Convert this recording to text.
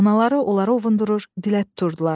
Analaları onları ovundurur, dilə tuturdular.